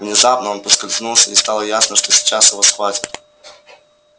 внезапно он поскользнулся и стало ясно что сейчас его схватят